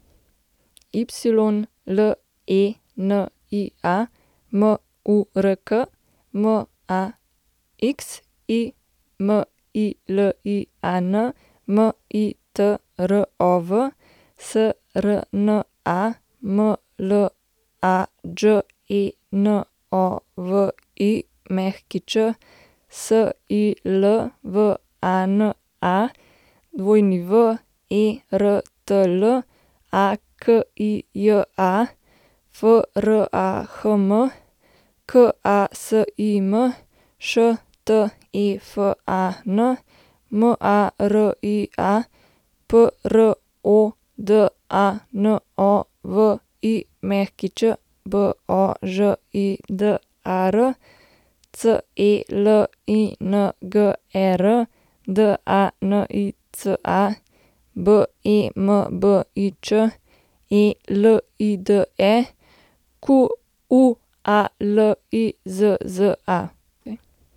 Ylenia Murk, Maximilian Mitrov, Srna Mlađenović, Silvana Wertl, Akija Frahm, Kasim Štefan, Maria Prodanović, Božidar Celinger, Danica Bembič, Elide Qualizza.